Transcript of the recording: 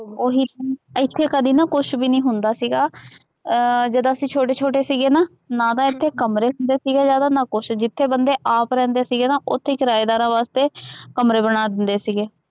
ਉਹੀ ਤਾਂ ਇੱਥੇ ਕਦੇ ਨਾ ਕੁੱਛ ਵੀ ਨਹੀਂ ਹੁੰਦਾ ਸੀਗਾ, ਅਹ ਜਦੋਂ ਅਸੀਂ ਛੋਟੇ ਛੋਟੇ ਸੀਗੇ ਨਾ, ਨਾ ਤਾਂ ਇੱਥੇ ਕਮਰੇ ਹੁੰਦੇ ਸੀਗੇ ਜ਼ਿਆਦਾ, ਨਾ ਕੁੱਛ, ਜਿੱਥੇ ਬੰਦੇ ਆਪ ਰਹਿੰਦੇ ਸੀਗੇ ਨਾ, ਉੱਥੇ ਕਿਰਾਏਦਾਰਾਂ ਵਾਸਤੇ ਕਮਰੇ ਬਣਾ ਦਿੰਦੇ ਸੀਗੇ,